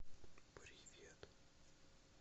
привет